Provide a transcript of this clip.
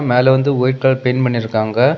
மேல வந்து white colour paint பண்ணிருக்காங்க.